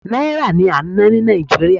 náírà ni a n na ni nigeria